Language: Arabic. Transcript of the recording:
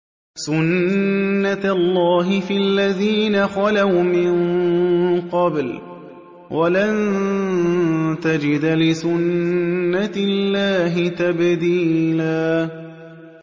سُنَّةَ اللَّهِ فِي الَّذِينَ خَلَوْا مِن قَبْلُ ۖ وَلَن تَجِدَ لِسُنَّةِ اللَّهِ تَبْدِيلًا